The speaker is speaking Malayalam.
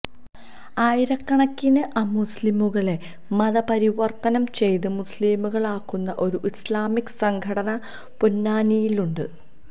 ആയിരക്കണക്കിന് അമുസ്ലിംകളെ മതപരിവര്ത്തനം ചെയ്ത് മുസ്ലിംകളാക്കുന്ന ഒരു ഇസ്ലാമിക സംഘടന പൊന്നാനിയില് ഉണ്ട്